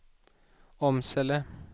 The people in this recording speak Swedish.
Åmsele